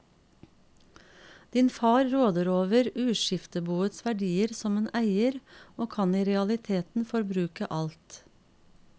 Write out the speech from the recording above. Din far råder over uskifteboets verdier som en eier, og kan i realiteten forbruke alt.